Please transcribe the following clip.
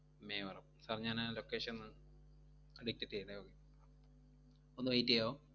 Mevaram sir ഞാനാ location ഒന്ന് detect എയ്യട്ടെ ഒന്ന് wait എയ്യാവോ? മേവറം